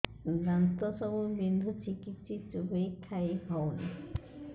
ଦାନ୍ତ ସବୁ ବିନ୍ଧୁଛି କିଛି ଚୋବେଇ ଖାଇ ହଉନି